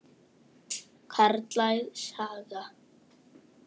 Karllæg saga?